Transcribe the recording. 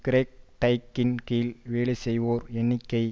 Greg டைக்கின் கீழ் வேலை செய்வோர் எண்ணிக்கை